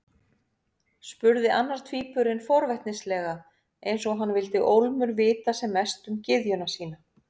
spurði annar tvíburinn forvitnislega, eins og hann vildi ólmur vita sem mest um gyðjuna sína.